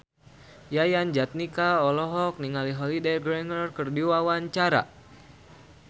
Yayan Jatnika olohok ningali Holliday Grainger keur diwawancara